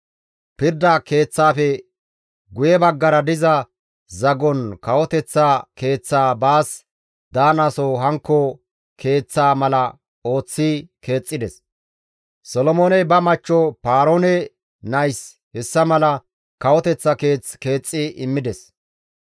Pirda Keeththaafe guye baggara diza zagon kawoteththa keeththaa baas daanaso hankko keeththaa mala ooththi keexxides; Solomooney ba machcho Paaroone nayis hessa mala kawoteththa keeth keexxi immides.